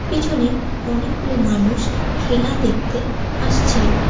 পিছনে অনেকগুলো মানুষ খেলা দেখতে আসছে।